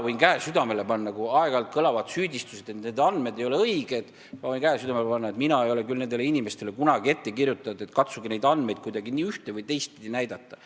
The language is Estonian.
Kui aeg-ajalt kõlavad süüdistused, et need andmed ei ole õiged, siis ma võin käe südamele panna, et mina ei ole küll nendele inimestele kunagi ette kirjutanud, et katsuge neid andmeid kuidagi üht- või teistpidi näidata.